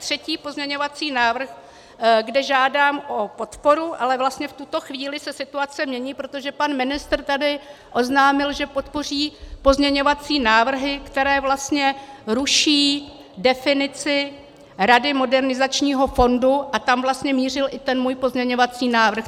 Třetí pozměňovací návrh, kde žádám o podporu, ale vlastně v tuto chvíli se situace mění, protože pan ministr tady oznámil, že podpoří pozměňovací návrhy, které vlastně ruší definici Rady Modernizačního fondu, a tam vlastně mířil i ten můj pozměňovací návrh.